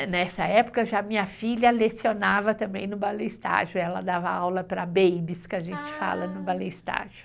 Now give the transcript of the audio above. E nessa época já minha filha lecionava também no balé estágio, ela dava aula para babies, que a gente fala no balé estágio.